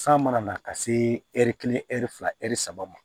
San mana na ka se ɛri kelen ɛri fila ɛri saba ma